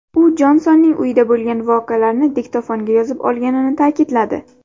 U Jonsonning uyida bo‘lgan voqealarni diktofonga yozib olganini ta’kidladi.